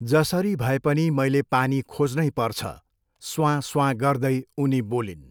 जसरी भए पनि मैले पानी खोज्नै पर्छ, स्वाँस्वाँ गर्दै उनी बोलिन्।